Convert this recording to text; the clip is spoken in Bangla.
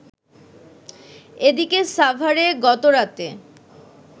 এদিকে সাভারে গতরাতে